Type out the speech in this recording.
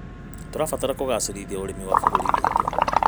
Tũrabatara kũgacĩrithia ũrĩmi wa bũrũri witũ.